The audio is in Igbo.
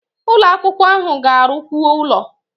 Ụlo akwụkwọ ahụ ga-arụkwu ụlọ